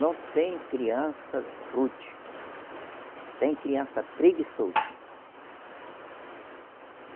Não tem criança rude, tem criança preguiçoso.